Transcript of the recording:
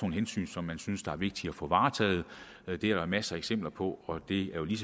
hensyn som man synes er vigtige at få varetaget det er der masser af eksempler på og det er jo lige